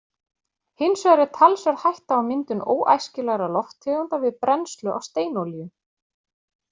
Hins vegar er talsverð hætta á myndun óæskilegra lofttegunda við brennslu á steinolíu.